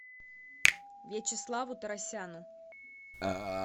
вячеславу торосяну